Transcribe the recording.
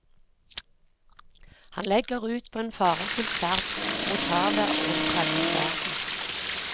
Han legger ut på en farefylt ferd mot havet og en fremmed verden.